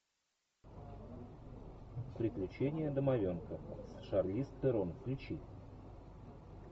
приключения домовенка с шарлиз терон включи